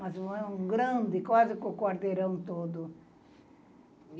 Mas um grande, quase com o quarteirão todo.